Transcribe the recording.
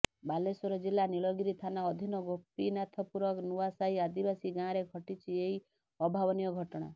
ବାଲେଶ୍ୱର ଜିଲ୍ଲା ନୀଳଗିରି ଥାନା ଅଧୀନ ଗୋପୀନାଥପୁର ନୂଆସାହି ଆଦିବାସୀ ଗାଁରେ ଘଟିଛି ଏହି ଅଭାବନୀୟ ଘଟଣା